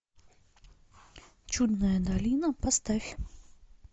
чудная долина поставь